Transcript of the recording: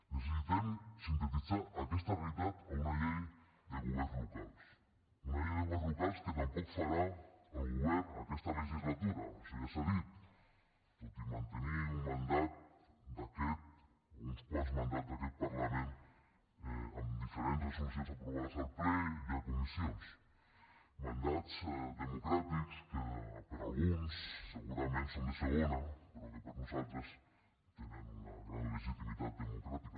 necessitem sintetitzar aquesta realitat a una llei de governs locals una llei de governs locals que tampoc farà el govern aquesta legislatura això ja s’ha dit tot i mantenir un mandat o uns quants mandats d’aquest parlament amb diferents resolucions aprovades al ple i a comissions mandats democràtics que per a alguns segurament són de segona però que per nosaltres tenen una gran legitimitat democràtica